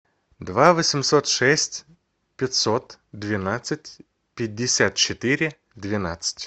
два восемьсот шесть пятьсот двенадцать пятьдесят четыре двенадцать